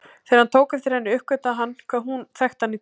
Þegar hann tók eftir henni uppgötvaði hún hvað hún þekkti hann illa.